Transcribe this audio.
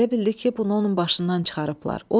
Elə bildi ki, bunu onun başından çıxarıblar.